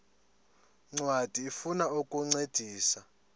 ncwadi ifuna ukukuncedisa